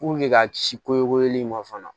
ka ci kole in ma fana